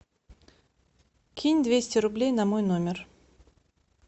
кинь двести рублей на мой номер